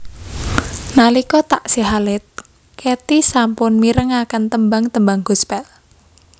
Nalika taksih alit Katy sampun mirengaken tembang tembang gospel